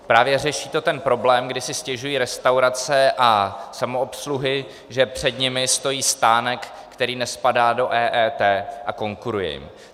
Právě to řeší ten problém, kdy si stěžují restaurace a samoobsluhy, že před nimi stojí stánek, který nespadá do EET a konkuruje jim.